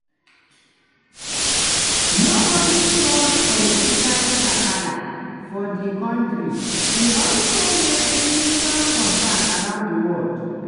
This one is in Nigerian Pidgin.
no only cause political kasala for di kontri e also raise serious concern around di world.